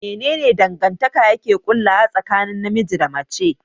Mene ne dangantaka yake ƙullawa tsakanin namiji da mace?